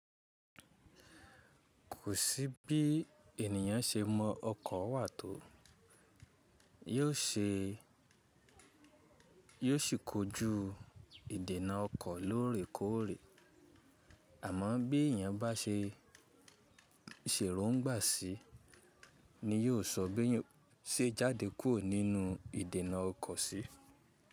Kò sí bí ènìyàn ṣe mọ ọkọ̀ wà tó, yóò ṣe, yóò sì kojú ìdènà ọkọ̀ lóòrèkóòrè. Àmọ́ bí èèyàn bá ṣe ń ṣèròngbà sí i ni yóò sọ bí èèyàn ṣe jáde kúrò nínú ìdènà ọkọ̀ si.